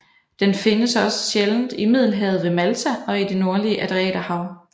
Den findes også sjældent i Middelhavet ved Malta og i det nordlige Adriaterhav